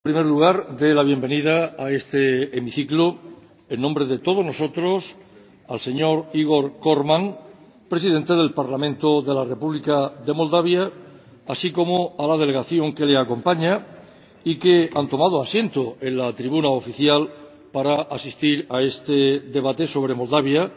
Me van a permitir que, en primer lugar, dé la bienvenida a este hemiciclo, en nombre de todos nosotros, al D. Igor Corman, Presidente del Parlamento de la República de Moldavia, así como a la delegación que le acompaña, que han tomado asiento en la tribuna oficial para asistir a este debate sobre Moldavia